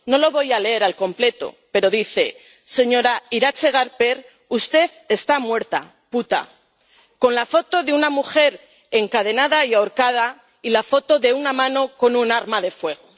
No lo voy a leer al completo, pero dice Señora Iratxe Garper usted está muerta, puta. Lleva la foto de una mujer encadenada y ahorcada y la foto de una mano con un arma de fuego.